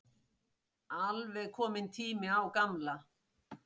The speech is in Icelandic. Alveg kominn tími á gamla.